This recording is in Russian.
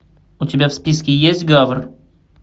у тебя в списке есть гавр